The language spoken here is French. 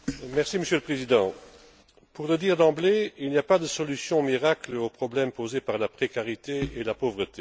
Monsieur le Président, pour le dire d'emblée, il n'y a pas de solution miracle aux problèmes posés par la précarité et la pauvreté.